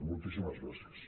moltíssimes gràcies